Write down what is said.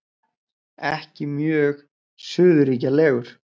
Ekki mjög suðurríkjalegur.